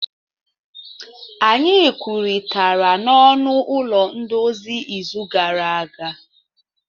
Anyị kwurịtara n'ọnụ ụlọ nduzi izu gara aga.